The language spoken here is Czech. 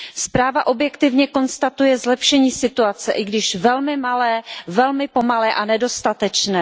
Zpráva objektivně konstatuje zlepšení situace, i když velmi malé, velmi pomalé a nedostatečné.